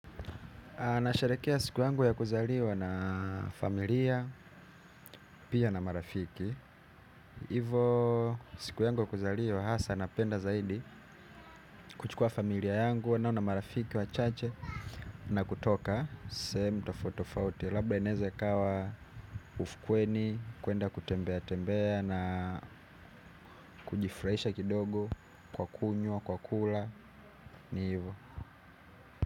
Anasharekea siku yangu ya kuzaliwa na familia, pia na marafiki. Hivo siku yangu ya kuzaliwa, hasa napenda zaidi kuchukua familia yangu, nao na marafiki, wachache, na kutoka, sehemu tofauti tofauti. Labda inaeza ikawa ufukweni, kuenda kutembea tembea na kujifurahisha kidogo kwa kunywa, kwa kula, ni hivo.